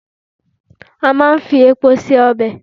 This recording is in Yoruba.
À máa n fi epo se ọbẹ̀